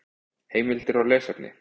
Heimildir og lesefni: